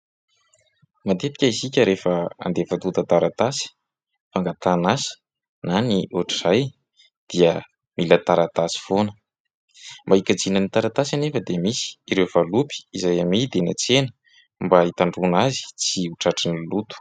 Matetika isika rehefa andefa antontan-taratasy fangatahana azy na ny ohatra izay dia mila taratasy foana mba hikajiana ny taratasy anefa dia misy ireo valopy izay amidy eny an-tsena mba hitandroana azy tsy hotratran'ny loto